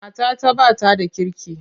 Matata ba ta da kirki.